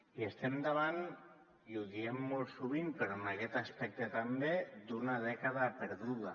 i estem davant i ho diem molt sovint però en aquest aspecte també d’una dècada perduda